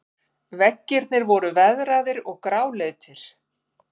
Veggirnir voru veðraðir og gráleitir.